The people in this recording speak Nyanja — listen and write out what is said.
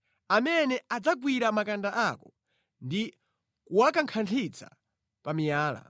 Amene adzagwira makanda ako ndi kuwakankhanthitsa pa miyala.